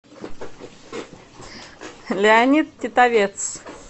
леонид титовец